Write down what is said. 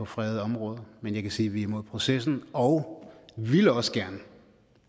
fredede områder men jeg kan sige at vi er imod processen og ville også gerne